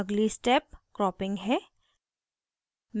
अगली step cropping है